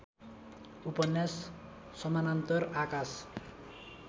उपन्यास समानान्तर आकाश